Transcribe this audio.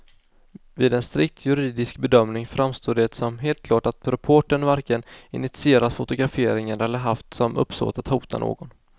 Vid en strikt juridisk bedömning framstår det som helt klart att reportern varken initierat fotograferingen eller haft som uppsåt att hota någon.